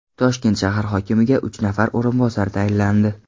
Toshkent shahar hokimiga uch nafar o‘rinbosar tayinlandi.